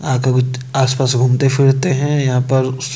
अदभुद आसपास घूमते-फिरते हैं। यहां पर--